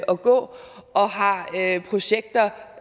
gå og har projekter